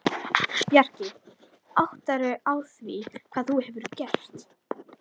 Bjarki, áttarðu á því hvað þú ert að gera?